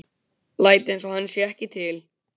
Læt einsog hann sé ekki til.